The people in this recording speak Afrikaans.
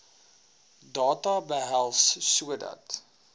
data behels sodat